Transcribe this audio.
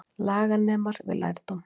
Laganemar við lærdóm